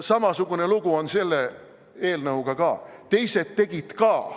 " Samasugune lugu on selle eelnõuga ka: teised tegid ka.